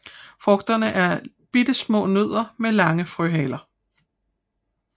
Frugterne er bittesmå nødder med lange frøhaler